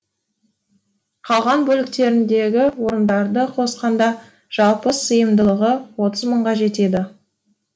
қалған бөліктеріндегі орындарды қосқанда жалпы сыйымдылығы отыз мыңға жетеді